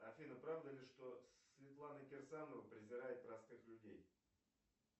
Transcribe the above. афина правда ли что светлана кирсанова презирает простых людей